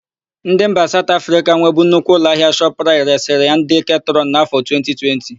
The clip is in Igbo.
Ndị mba Saụt Afrịka nwebu nnukwu ụlọahịa Shọpraịt resịrị ya ndị Ketrọn n'áfọ̀ 2020.